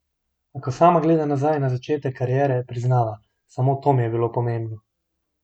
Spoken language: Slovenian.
A ko sama gleda nazaj na začetek kariere, priznava: "Samo to mi je bilo pomembno.